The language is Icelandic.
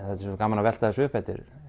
þetta er gaman að velta þessu upp þetta er